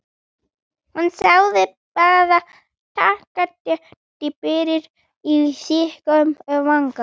Hún segir bara: þakka þér fyrir, og strýkur mér vangann.